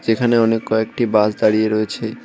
এখানে অনেক কয়েকটি বাস দাঁড়িয়ে রয়েছে।